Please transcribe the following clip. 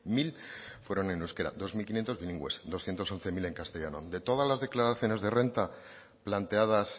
mil fueron en euskera dos mil quinientos bilingües doscientos once mil en castellano de todas las declaraciones de renta planteadas